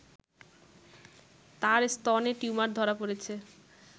তার স্তনে টিউমার ধরা পড়েছে